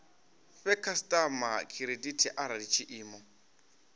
fhe khasitama khiredithi arali tshiimo